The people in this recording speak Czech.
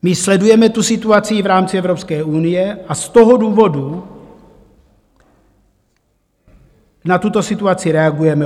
My sledujeme tu situaci i v rámci Evropské unie a z toho důvodu na tuto situaci reagujeme.